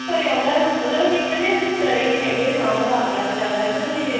ਘਰੇ ਆਉਂਦਾ ਮਤਲਬ ਅਸੀਂ ਕਦੇ ਊਂ ਡਰੇ ਨੀ ਹੈਗੇ ਵੀ ਉਹ ਆ ਗਿਆ ਵੀ ਚੱਲ ਹਨਾ ਵੀ